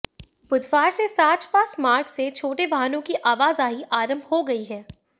बुधवार से साच पास मार्ग से छोटे वाहनों की आवाजाही आरंभ हो गई है